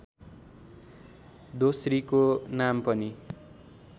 दोस्रीको नाम पनि